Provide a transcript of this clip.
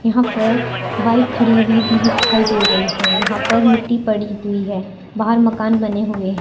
यहां पर बाइक खड़ी हुई भी दिखाई दे रही है। यहां पर मिट्टी पड़ी हुई है। बाहर मकान बने हुए --